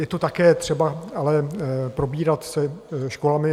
Je to také třeba ale probírat se školami.